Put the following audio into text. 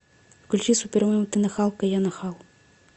включи супермем ты нахалка я нахал